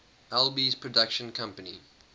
alby's production company